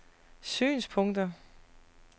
synspunkter